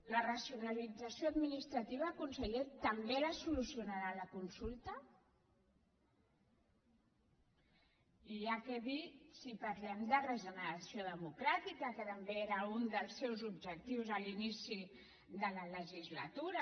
la racionalització administrativa conseller també la solucionarà la consulta i ja què dir si parlem de regeneració democràtica que també era un dels seus objectius a l’inici de la legislatura